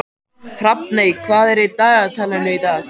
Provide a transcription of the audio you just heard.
Hrafney, hvað er í dagatalinu í dag?